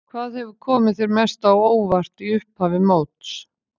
Hvað hefur komið þér mest á óvart í upphafi móts?